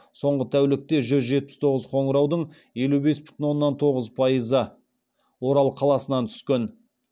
соңғы тәулікте жүз жетпіс тоғыз қоңыраудың елу бес бүтін оннан тоғыз пайызы орал қаласынан түскен